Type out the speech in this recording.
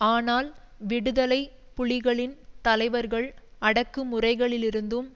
ஆனால் விடுதலை புலிகளின் தலைவர்கள் அடக்குமுறைகளிலிருந்தும்